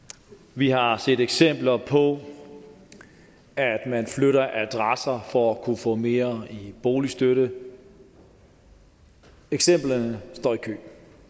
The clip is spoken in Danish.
vi har set eksempler på at man flytter adresse for at kunne få mere i boligstøtte eksemplerne står i kø